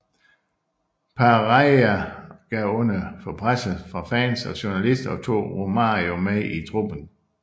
Parreira gav under for presset fra fans og journalister og tog Romário med i truppen